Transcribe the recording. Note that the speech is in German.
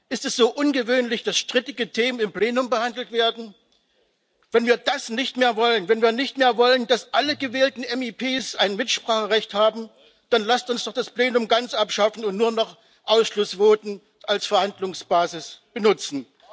Ist es so ungewöhnlich, dass strittige Themen im Plenum behandelt werden? Wenn wir das nicht mehr wollen, wenn wir nicht mehr wollen, dass alle gewählten MdEP ein Mitspracherecht haben, dann lasst uns doch das Plenum ganz abschaffen und nur noch Ausschussvoten als Verhandlungsbasis benutzen!